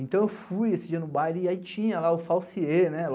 Então eu fui esse dia no baile e aí tinha lá o Falsiê, né?